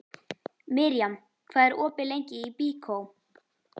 Mirjam, hvað er opið lengi í Byko?